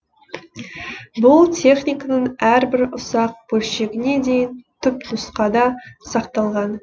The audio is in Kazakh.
бұл техниканың әрбір ұсақ бөлшегіне дейін түпнұсқада сақталған